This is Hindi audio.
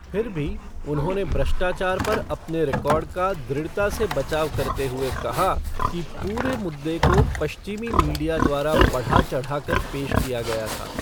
फिर भी, उन्होंने भ्रष्टाचार पर अपने रिकॉर्ड का दृढ़ता से बचाव करते हुए कहा कि पूरे मुद्दे को पश्चिमी मीडिया द्वारा बढ़ा चढ़ाकर पेश किया गया था।